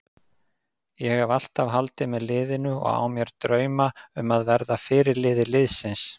Ég hef alltaf haldið með liðinu og á mér drauma um að verða fyrirliði liðsins.